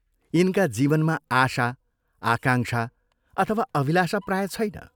यिनका जीवनमा आशा, आकांक्षा अथवा अभिलाषा प्राय छैन।